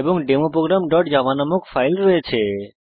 এবং ডেমো programজাভা নামক ফাইল রয়েছে